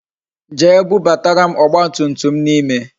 Jee bubatara m ọgba tum tum m n'ime